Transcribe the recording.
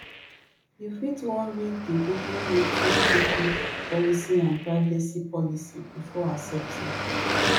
you fit wan read di google youtubecookie policyandprivacy policybefore accepting